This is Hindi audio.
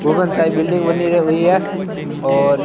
टाइप बिल्डिंग बनी र हुई है और--